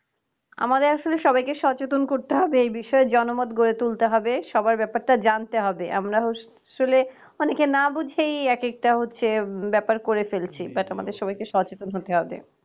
আমাদের আসলে সবাইকে সচেতন করতে হবে। এই বিষয়ে জনমত গড়ে তুলতে হবে। সবার ব্যাপারটা জানতে হবে। আমরা আসলে অনেকে না বুঝেই একেকটা হচ্ছে ব্যাপার করে ফেলছি। but আমাদের সবাইকে সচেতন হতে হবে।